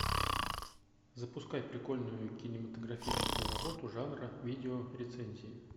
запускай прикольную кинематографическую работу жанра видео рецензии